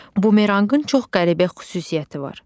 Bumeranqın çox qəribə xüsusiyyəti var.